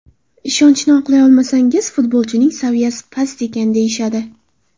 Ishonchni oqlay olmasangiz, futbolchining saviyasi past ekan deyishadi.